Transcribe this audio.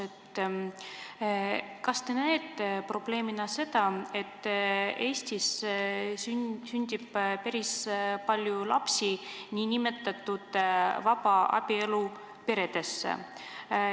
Kas te näete probleemina seda, et Eestis sünnib päris palju lapsi vabaabielu peredesse?